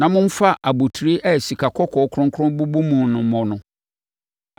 na momfa abotire a sikakɔkɔɔ kronkron bobɔ mu no mmɔ no.